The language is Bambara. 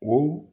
O